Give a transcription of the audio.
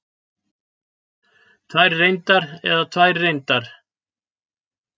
Tvær reyndar eða tvær reyndar?